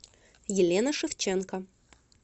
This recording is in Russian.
елена шевченко